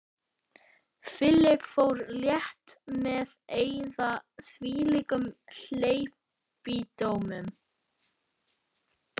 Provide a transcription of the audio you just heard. Philip fór létt með að eyða þvílíkum hleypidómum.